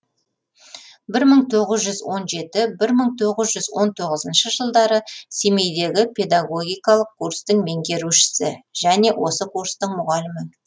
бір мың тоғыз жүз он жеті бір мың тоғыз жүз он тоғызыншы жылдары семейдегі педагогикалық курстың меңгерушісі және осы курстың мұғалімі